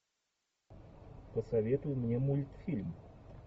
посоветуй мне мультфильм